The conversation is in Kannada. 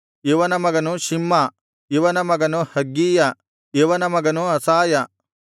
ಇವನ ಮಗನು ಶಿಮ್ಮಾ ಇವನ ಮಗನು ಹಗ್ಗೀಯ ಇವನ ಮಗನು ಅಸಾಯ